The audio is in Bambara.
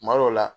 Kuma dɔw la